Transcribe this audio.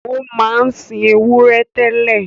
Ó máa ń sin ewúrẹ́ tẹ́lẹ̀